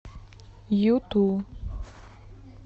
юту